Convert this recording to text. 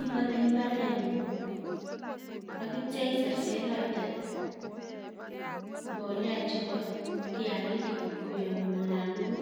Ibati mbareng'ung' akitcha iserserate mbolea chebo kiagik koyam olatugul